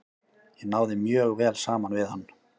Ég náði mjög vel saman við hann.